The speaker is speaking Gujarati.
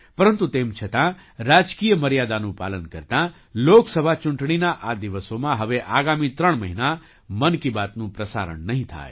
પરંતુ તેમ છતાં રાજકીય મર્યાદાનું પાલન કરતા લોકસભા ચૂંટણીના આ દિવસોમાં હવે આગામી ત્રણ મહિના મન કી બાતનું પ્રસારણ નહીં થાય